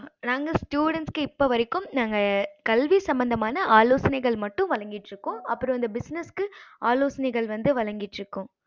நாங்க students க்கு இப்போ வரைக்கும் நாங்க கல்வி சம்பந்தமான ஆலோசனைகள் மட்டும் வழங்கிட்டு இருக்கோம் அப்பறம் அந்த business க்கு ஆலோசனைகள் வந்து வழங்கிட்டு இருக்கோம்